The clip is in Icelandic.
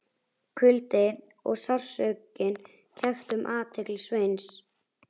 Kuldinn og sársaukinn kepptu um athygli Sveins.